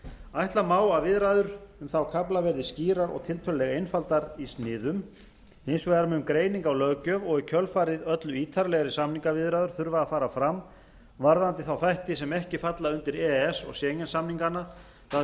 ætla má að viðræður um þá kafla verði skýrar og tiltölulega einfaldar í sniðum hins vegar mun greining á löggjöf og í kjölfarið öllu ítarlegri samningaviðræður þurfa að fara fram varðandi þá þætti sem ekki falla undir e e s og schengen samningana það